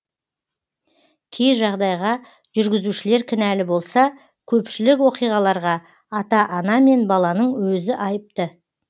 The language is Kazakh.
кей жағдайға жүргізушілер кінәлі болса көпшілік оқиғаларға ата ана мен баланың өзі айыпты